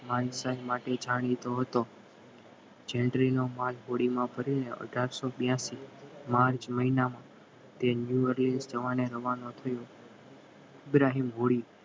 માટે જાણીતો હતો જેનટલી માલ હોળી માં ભરીને આધારસો બ્યાસી માર્ચ મહિનામાં જવાને રવાનો થયો ઈબ્રાહીમ હોળી